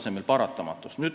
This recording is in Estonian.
See on paratamatus.